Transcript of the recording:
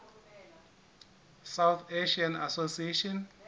south asian association